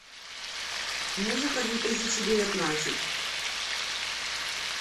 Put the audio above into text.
музыка две тысячи девятнадцать